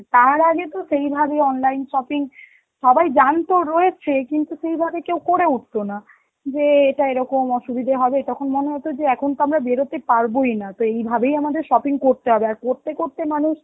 তার আগে তো সেই ভাবে online shopping সবাই জানত রয়েছে কিন্তু সেই ভাবে কেউ করে উঠত না, যে এটা এরকম অসুবিধা হবে, তখন মনে হতো যে এখন তো আমরা বেরোতে পারবোই না, তো এইভাবেই আমাদের shopping করতে হবে, আর করতে করতে মানুষ